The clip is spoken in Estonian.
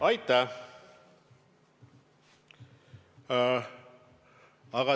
Aitäh!